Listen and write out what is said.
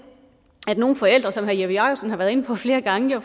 at nogle forældre som herre jeppe jakobsen har været inde på flere gange